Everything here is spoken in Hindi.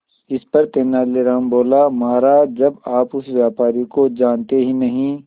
इस पर तेनालीराम बोला महाराज जब आप उस व्यापारी को जानते ही नहीं